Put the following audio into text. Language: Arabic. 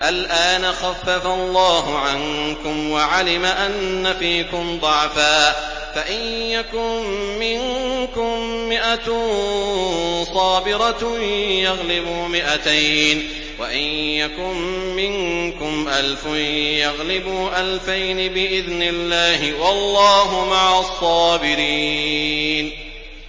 الْآنَ خَفَّفَ اللَّهُ عَنكُمْ وَعَلِمَ أَنَّ فِيكُمْ ضَعْفًا ۚ فَإِن يَكُن مِّنكُم مِّائَةٌ صَابِرَةٌ يَغْلِبُوا مِائَتَيْنِ ۚ وَإِن يَكُن مِّنكُمْ أَلْفٌ يَغْلِبُوا أَلْفَيْنِ بِإِذْنِ اللَّهِ ۗ وَاللَّهُ مَعَ الصَّابِرِينَ